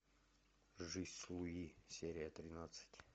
жизнь с луи серия тринадцать